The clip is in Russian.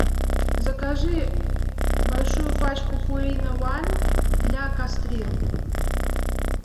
закажи большую пачку пурина уан для кастрированных